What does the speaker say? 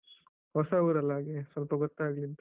ಹೊಸ ಊರಲ್ಲ ಹಾಗೆ ಸ್ವಲ್ಪ ಗೊತ್ತಾಗ್ಲಿ ಅಂತ.